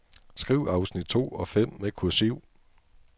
Skriv afsnit to og fem med kursiv.